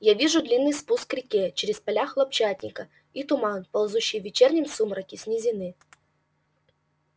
я вижу длинный спуск к реке через поля хлопчатника и туман ползущий в вечернем сумраке с низины